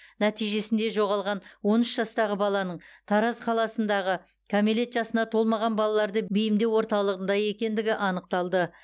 нәтижесінде жоғалған он үш жастағы баланың тараз қаласындағы кәмелет жасына толмаған балаларды бейімдеу орталығында екендігі анықталды